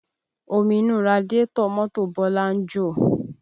Omi inú radiátọ̀ mọ́tò bọlá ń jò